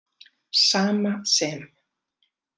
Sama sem